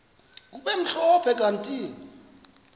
kube mhlophe kanti